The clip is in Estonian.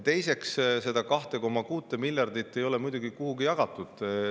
Teiseks, seda 2,6 miljardit ei ole kuhugi jagatud.